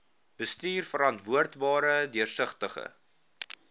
bestuur verantwoordbare deursigtige